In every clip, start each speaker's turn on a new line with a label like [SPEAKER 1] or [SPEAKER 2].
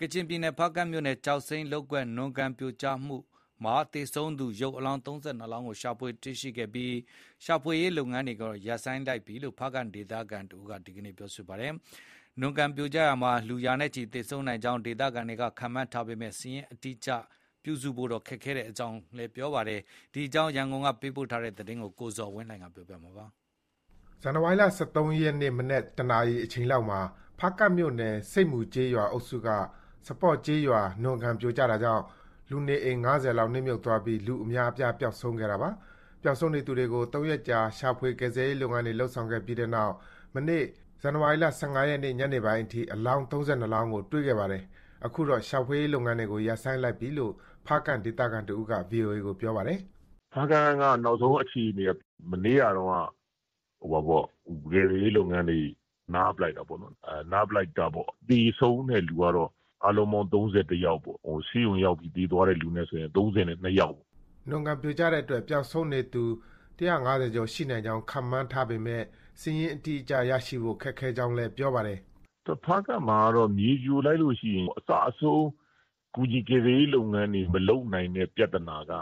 [SPEAKER 1] ကချင်ပြည်နယ် ဖားကန့်မြို့နယ်က ကျောက်စိမ်းလုပ်ကွက် နွံကန်ပြိုကျမှုမှာ အလောင်း ၃၂ လောင်းကို တွေ့ရှိခဲ့ပြီး ရှာဖွေရေးလုပ်ငန်းတွေကို ရပ်ဆိုင်းလိုက်ပြီလို့ ဖားကန့်ဒေသခံတဦးက ပြောပါတယ်။ နွံကန်ပြိုကျရာမှာ လူ ရာနဲ့ချီသေဆုံးနိုင်ကြောင်း ဒေသခံတွေကခန့်မှန်းကြပေမဲ့ စာရင်းအတိအကျရဖို့ ခက်ခဲကြောင်းလည်း ပြောပါတယ်။ ဒီအကြောင်း ရန်ကုန်က သတင်းပေးပို့ထားပါတယ်။
[SPEAKER 2] ဇန်နဝါရီလ ၁၃ ရက်နေ့ မနက် ၁ နာရီအချိန်လောက်မှာ ဖားကန့်မြို့နယ် ဆိပ်မူကျေးရွာအုပ်စုက စပေါ့ကျေးရွာ နွံကန်ပြိုကျတာကြောင့် လူနေအိမ် ၅၀ လောက် နစ်မြုပ်သွားပြီး လူအများအပြားပျောက်ဆုံးခဲ့တာပါ။ ပျောက်ဆုံးနေသူတွေကို ၃ ရက်ကြာ ရှာဖွေကယ်ဆယ်ရေးလုပ်ငန်းတွေ လုပ်ဆောင်ခဲ့ပြီးနောက် မနေ့ ၁၅ ရက်နေ့ ညနေပိုင်းအထိ အလောင်း ၃၂ လောင်းကို တွေ့ခဲ့ပါတယ်။ အခု တော့ ရှာဖွေရေးလုပ်ငန်းတွေ ရပ်ဆိုင်းလိုက်ပြီလို့ ဖားကန့်ဒေသခံတဦးက VOA ကို ပြောပါတယ်။
[SPEAKER 3] “ဖားကန့်ရဲ့နောက်ဆုံးအခြေအနေက မနေ့ကတုန်းက ကယ်ဆယ်ရေးလုပ်ငန်းတွေ နားပစ်လိုက်တာပေါ့။ သေ ဆုံးတဲ့သူကတော့ အားလုံးပေါင်း ၃၁ ယောက်ပေါ့။ ဆေးရုံရောက်ပြီး သေသွားတဲ့သူနဲ့ဆို ၃၂ ယောက်ပေါ့
[SPEAKER 2] ။” နွံကန်ပြိုကျတဲ့အတွက် ပျောက်ဆုံးနေတဲ့သူ ၁၅၀ ကျော်ရှိနိုင်ကြောင်း ခန့်မှန်းပေမဲ့ စာရင်းအတိအကျရရှိဖို့ ခက်ခဲကြောင်း လည်း ပြောပါတယ်
[SPEAKER 3] ။ “ဖားကန့်မှာက မြေပြိုလိုက်လို့ရှိရင် ကူညီကယ်ဆယ်ရေးလုပ်ငန်းတွေကို အစအဆုံးမလုပ်နိုင်တဲ့ ပြဿနာက စာ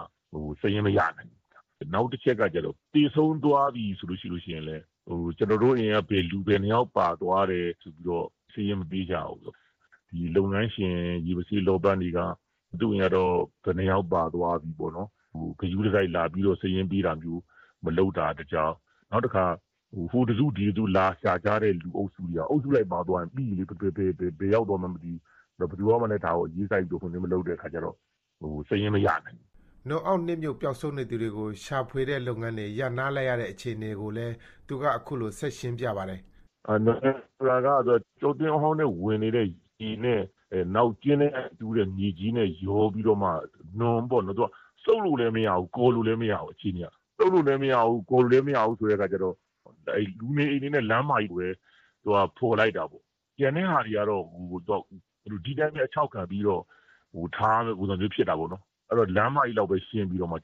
[SPEAKER 3] ရင်းမရနိုင်ဘူး။ နောက်တချက်ကကျတော့ သေဆုံးသွားပြီဆိုလို့ရှိရင်လည်း ကျနော်တို့အိမ်က လူ ဘယ် နှစ်ယောက်ပါသွားတယ် ဆိုပြီးတော့ စာရင်းမပေးကြဘူး။ ဒီလုပ်ငန်းရှင် ရေမဆေးလောပန်းတွေက သူ့အိမ်ကတော့ ဘယ်နှစ်ယောက်ပါသွားပြီပေါ့။ ဂရုတစိုက်လာပြီး စာရင်းပေးတာမျိုး မလုပ်တာတကြောင်း၊ နောက်တခါ ဟိုတစု၊ ဒီတစု လာရှာကြတဲ့လူအုပ်စုကြီးက အုပ်စုလိုက်ပါသွားရင် ပြီးပြီလေ။ ဘယ်ရောက် သွားမှန်း မသိဘူး။ ဘယ်သူကမှလည်း ဒါကို အရေးစိုက်ပြီး မလုပ်တဲ့အခါကျတော့ စာရင်းမရနိုင်ဘူး။
[SPEAKER 2] ” နွံအောက်နစ်မြုပ်ပျောက်ဆုံးနေသူတွေကို ရှာဖွေတဲ့လုပ်ငန်းတွေ ရပ်နားလိုက်ရတဲ့ အခြေအနေကိုလည်း သူက အခုလို ဆက်ရှင်းပြပါတယ်
[SPEAKER 3] ။ “နွံကန်ဆိုတာက ကျောက်တွင်းအဟောင်းထဲကို ဝင်နေတဲ့ ရေနဲ့ နောက်ကျင်းထဲက တူးတဲ့မြေကြီးနဲ့ ရောပြီးတော့မှ နွံပေါ့နော်။ သူက စုပ်လို့လည်း မရဘူး။ ကော်လို့လည်း မရဘူး။ အခြေအနေက။ စုပ်လို့လည်းမရဘူး၊ ကော်လို့လည်း မရဘူးဆိုတဲ့အခါကျတော့ လူနေအိမ်တွေနဲ့ လမ်းမကြီးကိုပဲ ဖော်လိုက်တာပေါ့။ ကျန်တဲ့ဟာတွေကတော့ ဒီတိုင်းပဲ အခြောက်ခံပြီးတော့ ထားရမယ့်ပုံစံမျိုး ဖြစ်တာပေါ့နော်။ အဲတော့ လမ်းမကြီးလောက်ပဲ ရှင်းပြီးတော့မှ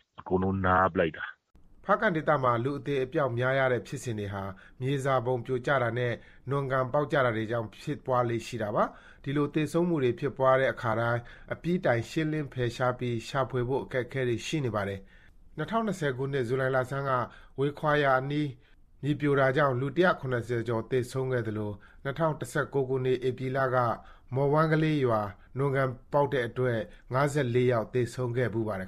[SPEAKER 3] နားပစ်လိုက်တာ။
[SPEAKER 2] ” ဖားကန့်ဒေသမှာ လူအသေအပျောက်များရတဲ့ဖြစ်စဉ်တွေဟာ မြေစာပုံပြိုကျတာနဲ့ နွံကန်ပေါက်ကျတာတွေ ကြောင့် ဖြစ်ပွားလေ့ရှိတာပါ။ ဒီလို သေဆုံးမှုတွေဖြစ်တိုင်း အပြီးတိုင်ရှင်းလင်းဖယ်ရှားပြီး ရှာဖွေဖို့ အခက်အခဲတွေ ရှိနေပါတယ်။ ၂၀၂၀ခုနှစ် ဇူလိုင်လဆန်းက ဝေခါရွာအနီး မြေပြိုတာကြောင့် လူ ၁၇၀ ကျော် သေဆုံးခဲ့သလို ၂၀၁၉ ခုနှစ် ဧပြီလက မော်ဝမ်းကလေးရွာ နွံကန်ကျိုးပေါက်တဲ့အတွက် ၅၄ ယောက်လုံး သေဆုံးခဲ့ ဖူးပါတယ်